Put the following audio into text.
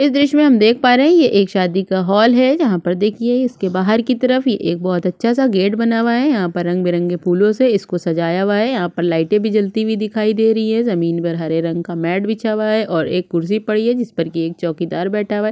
इस दृश्य में हम देख पा रहै है ये एक शादी का हाल है यहाँ पर देखिए इसके बाहर की तरफ ये एक बहोत अच्छा सा गेट बना हुआ है यहाँ पर रंग-बिरंगे फूलों से इसको सजाया हुआ है यहाँ पर लाइटे भी जलती हुई दिखाई दे रही है ज़मीन बर हरे रंग का मैट बिछा हुआ है ओर एक कुर्सी पड़ी है जिस पर की एक चोकीदार बैठा हुआ है।